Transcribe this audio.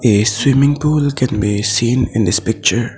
a swimming pool can be seen in this picture.